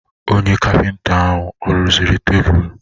Onye kapịnta ahụ ọ rụziri tebụl?